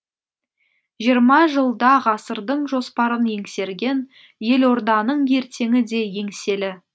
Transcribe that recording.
жиырма жылда ғасырдың жоспарын еңсерген елорданың ертеңі де еңселі